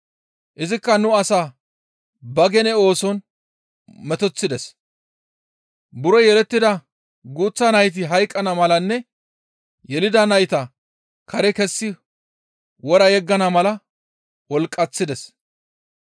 Izikka nu asaa ba gene ooson metoththides; buro yelettida guuththa nayti hayqqana malanne asay yelida nayta kare kessi wora yeggana mala wolqqaththides.